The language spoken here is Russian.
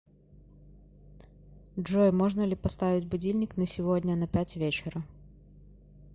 джой можно ли поставить будильник на сегодня на пять вечера